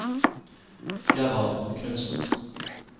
Gerhard Knudsen